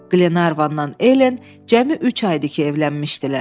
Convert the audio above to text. Qlenarvanla Ellen cəmi üç aydı ki, evlənmişdilər.